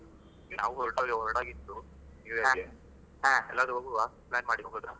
ನಾವು ಹೊರಟಾಗಿ ಹೊರಡಗಿತ್ತು new year ಗೆ ಹಾ ಎಲ್ಲಾದ್ರೂ ಹೋಗುವ plan ಮಾಡಿ ಹೋಗುದು